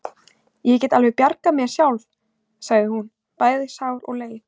Ég get alveg bjargað mér sjálf, sagði hún, bæði sár og leið.